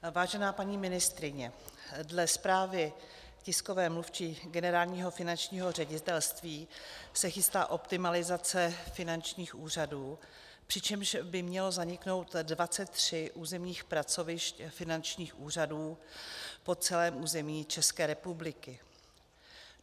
Vážená paní ministryně, dle zprávy tiskové mluvčí Generálního finančního ředitelství se chystá optimalizace finančních úřadů, přičemž by mělo zaniknout 23 územních pracovišť finančních úřadů po celém území České republiky.